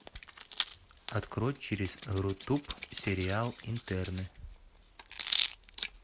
открой через рутуб сериал интерны